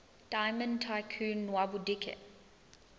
diamond tycoon nwabudike